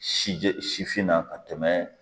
Si jɛ sifinna ka tɛmɛ